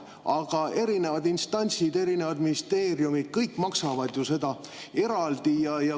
Aga erinevad instantsid ja erinevad ministeeriumid maksavad ju kõik neid eraldi.